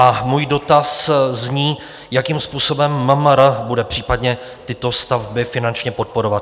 A můj dotaz zní, jakým způsobem MMR bude případně tyto stavby finančně podporovat?